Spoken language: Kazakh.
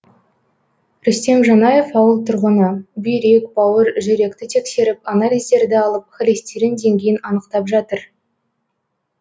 рүстем жанаев ауыл тұрғыны бүйрек бауыр жүректі тексеріп анализдерді алып холестерин деңгейін анықтап жатыр